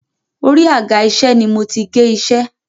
Orí àga-iṣẹ́ ni mo ti gé iṣẹ́.